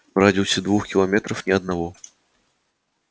в радиусе двух километров ни одного